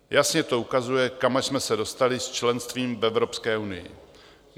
Jasně to ukazuje, kam až jsme se dostali s členstvím v Evropské unii.